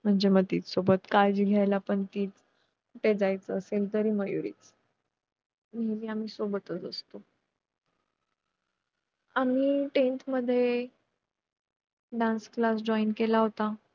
पालखी उचलायची कुणी, ती कुठल्या वाडीतून न्यायची, ती कुठे प्रथम थांबवायची, जागरण कुठे करायच , जेवण कुठे, खेळे कुठे हे सारं ठरलेलं असतं.